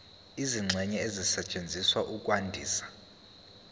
izingxenye ezisetshenziswa ukwandisa